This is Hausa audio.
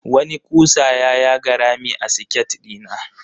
Wani ƙusa ya yaga rami a siket ɗina.